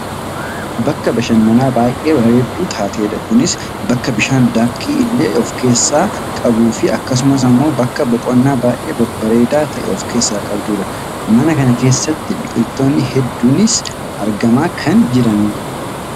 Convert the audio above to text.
Bakka bashananaa baayyee bareedduu taatedha. Kunis bakka bishaan daakiitii illee of keessaa qabduufi akkasumas ammoo bakka boqonnaa baayyee babbareeda ta'e of keessaa qabdudha. Mana kana keessatti biqiltoonni hedduunis argamaa kan jiranidha.